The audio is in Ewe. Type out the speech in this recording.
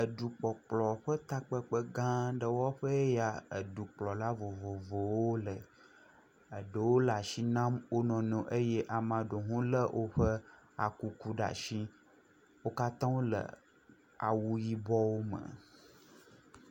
Edu kpɔkplɔ ƒe takpekpe gã ɖe ya ƒe ya edukplɔla vovovowo le. Eɖewo le asi nam wo nɔnɔewo eye ame aɖewo le woƒe akuku ɖe asi. Wo kata wo le woƒe awu yibɔwo me.